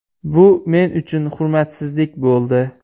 Bu men uchun hurmatsizlik bo‘ldi.